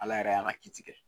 Ala yɛrɛ a ka kiti kɛ